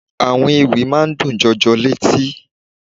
Àwọn Ewì máa ń dùn jọjọ létí.